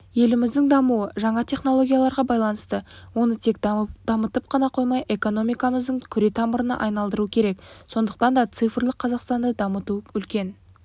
еліміздің дамуы жаңа технологияларға байланысты оны тек дамытып қана қоймай экономикамыздың күре тамырына айналдыру керек сондықтан да цифрлық қазақстанды дамыту үлкен